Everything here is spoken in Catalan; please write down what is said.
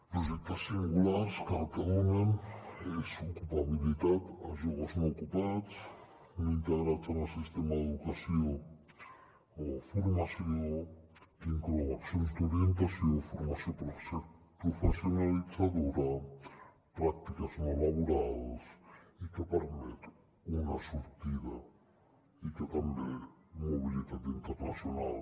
projectes singulars que el que donen és ocupabilitat a joves no ocupats ni integrats en el sistema d’educació o formació que inclou accions d’orientació formació professionalitzadora pràctiques no laborals i que permet una sortida i també mobilitat internacional